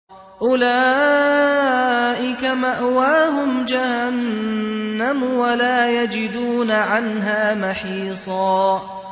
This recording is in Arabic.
أُولَٰئِكَ مَأْوَاهُمْ جَهَنَّمُ وَلَا يَجِدُونَ عَنْهَا مَحِيصًا